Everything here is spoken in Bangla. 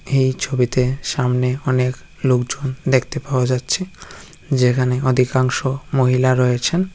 এই ছবিতেসামনেঅনেকলোকজনদেখতে পাওয়া যাচ্ছে যেখানে অধিকাংশ মহিলা রয়েছেন।